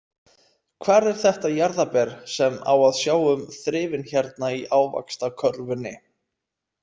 Hvar er þetta jarðarber sem á að sjá um þrifin hérna í ávaxtakörfunni?